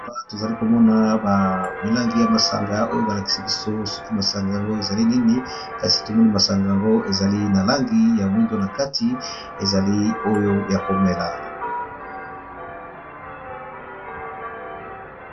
Awa tozalikomona milangi ya masanga oyo balakisi biso sokî masanga Nini kasi ezali na langi ya mwindu nakati ezali oyo yakomela.